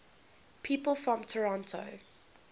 people from toronto